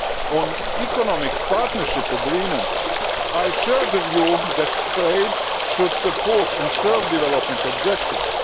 On Economic Partnership Agreements I share the view that trade should support and serve development objectives.